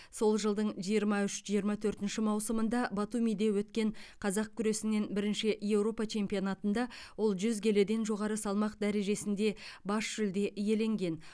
сол жылдың жиырма үш жиырма төртінші маусымында батумиде өткен қазақ күресінен бірінші еуропа чемпионатында ол жүз келіден жоғары салмақ дәрежесінде бас жүлде иеленген